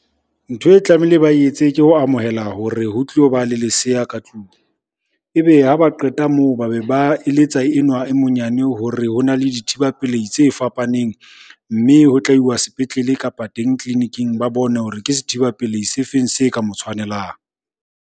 Ntho e tlamehile ba etse ke ho amohela hore ho tlilo ba le lesea ka tlung. Ebe ha ba qeta moo, ba be ba eletsa enwa e monyane hore ho na le dithiba pelei tse fapaneng. Mme ho tla iwa sepetlele, kapa teng tleliniking ba bone hore ke sethiba pelehi se feng se ka mo tshwanelang.